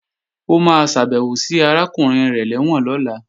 Ó máa ṣàbèwò sí arákùnrin rẹ̀ lẹ́wọ̀n lọ́la